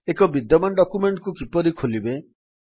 ଏକ ବିଦ୍ୟମାନ ଡକ୍ୟୁମେଣ୍ଟ୍ କୁ କିପରି ଖୋଲିବେ